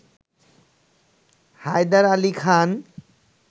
Haider Ali Khan